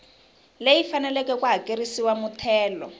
leyi faneleke ku hakerisiwa muthelo